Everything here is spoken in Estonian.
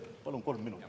Palun kolm minutit.